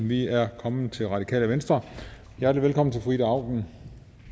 vi er kommet til det radikale venstre hjertelig velkommen til fru ida auken